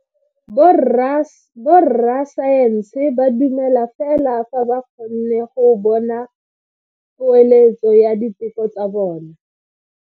Borra saense ba dumela fela fa ba kgonne go bona poeletso ya diteko tsa bone.